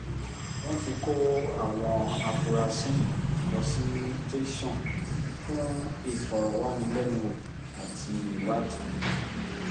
wọ́n ti kó àwọn afurasí yìí lọ sí tẹ̀sán fún ìfọ̀rọ̀wánilẹ́nuwò àti ìwádìí